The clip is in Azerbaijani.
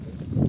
Gəl.